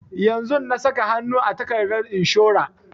Yanzun na saka hanu a takardar inshora